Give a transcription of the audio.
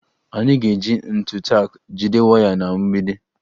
Anyị ga-eji ntu tak jide waya na mgbidi